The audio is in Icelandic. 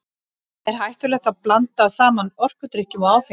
Er hættulegt að blanda saman orkudrykkjum og áfengi?